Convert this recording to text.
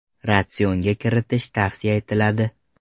Ratsionga kiritish tavsiya etiladi.